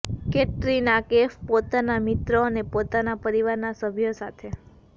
કૅટરીના કૈફ પોતાના મિત્રો અને પોતાના પરિવારના સભ્યો સાથે